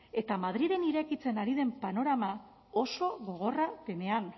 eta madrilen irekitzen ari den panorama oso gogorra denean